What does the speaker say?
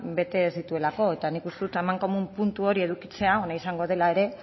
bete ez dituelako eta nik uste dut amankomun puntu hori edukitzea ona izango dela ere